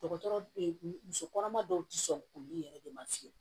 Dɔgɔtɔrɔ muso kɔnɔma dɔw ti sɔn olu yɛrɛ de ma fiyɛ